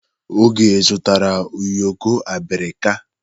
Oge zụtara ụyọkọ abirika.